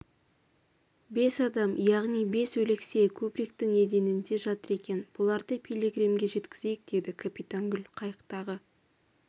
бес адам яғни бес өлексе кубриктің еденінде жатыр екен бұларды пилигримге жеткізейік деді капитан гуль қайықтағы